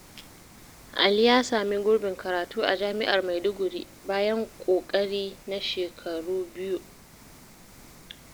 Ali ya sami gurbin karatu a Jami’ar Maiduguri bayan ƙoƙari na shekaru biyu.